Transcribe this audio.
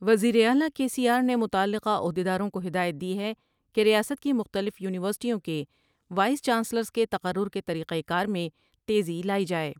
وزیراعلی K C R نے متعلقہ عہد یداروں کو ہدایت دی ہے کہ ریاست کی مختلف یونیورسٹیوں کے وائس چانسلرس کے تقرر کے طریقہ کار میں تیزی لائی جاۓ ۔